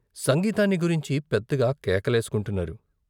సంగీతాన్ని గురించి పెద్దగా కేకలేసుకుంటున్నారు.